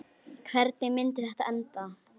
Hvernig myndi þetta enda?